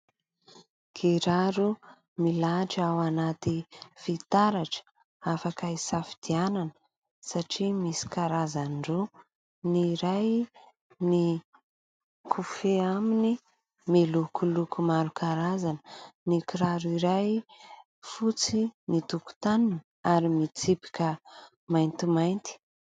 Kiraro milahatra ao anaty fitaratra afaka hisafidianana satria misy karazany roa : ny iray ny kofe aminy milokoloko maro karazana ny kiraro iray fotsy ny tokotaniny ary mitsipika mainty mainty.